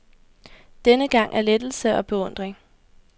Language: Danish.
Denne gang af lettelse og beundring.